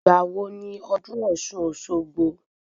Ìgbà wo ni ọdún ọ̀ṣun - òṣogbo?